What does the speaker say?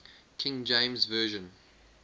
king james version